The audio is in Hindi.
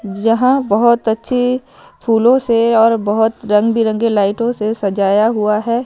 जहां बहुत अच्छी फूलों से और बहुत रंग-बिरंगे लाइटों से सजाया हुआ है।